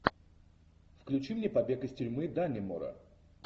включи мне побег из тюрьмы даннемора